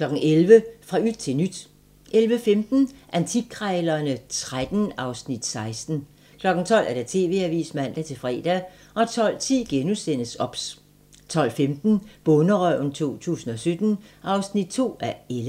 11:00: Fra yt til nyt 11:15: Antikkrejlerne XIII (Afs. 16) 12:00: TV-avisen (man-fre) 12:10: OBS * 12:15: Bonderøven 2017 (2:11)